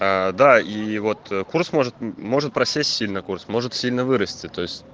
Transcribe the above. аа да и вот курс может может просесть сильно курс может сильно вырасти то есть